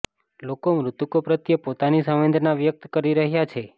લોકો મૃતકો પ્રત્યે પોતાની સંવેદના વ્યક્ત કરી રહ્યા છે